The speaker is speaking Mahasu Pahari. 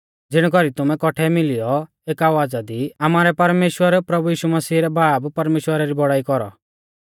ज़िणै कौरी तुमै कौट्ठै मिलियौ एक आवाज़ा दी आमारै परमेश्‍वर प्रभु यीशु मसीह रै बाब परमेश्‍वरा री बौड़ाई कौरौ